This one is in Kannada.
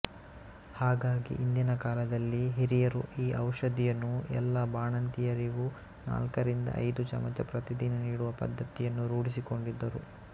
ಹಾಗಾಗಿ ಹಿಂದಿನ ಕಾಲದಲ್ಲಿ ಹಿರಿಯರು ಈ ಔಷಧಿಯನ್ನು ಎಲ್ಲ ಬಾಣಂತಿಯರಿಗೂ ನಾಲ್ಕರಿಂದ ಐದು ಚಮಚ ಪ್ರತಿದಿನ ನೀಡುವ ಪದ್ಧತಿಯನ್ನು ರೂಢಿಸಿಕೊಂಡಿದ್ದರು